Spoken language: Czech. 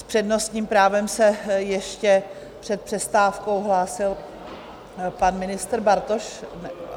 S přednostním právem se ještě před přestávkou hlásil pan ministr Bartoš?